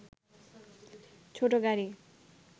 ছোট গাড়ি